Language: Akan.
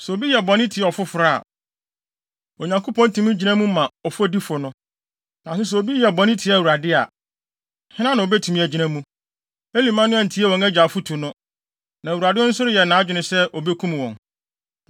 Sɛ obi yɛ bɔne tia ɔfoforo a, Onyankopɔn tumi gyina mu ma ɔfɔdifo no. Nanso sɛ obi yɛ bɔne tia Awurade a, hena na obetumi agyina mu?” Eli mma no antie wɔn agya afotu no, na Awurade nso reyɛ nʼadwene sɛ obekum wɔn.